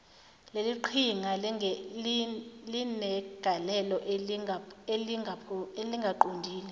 leliqhinga linegalelo elingaqondile